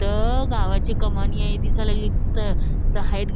त गावाची कमानी हाय दिसायला लागली तिथ तिथ हाईत--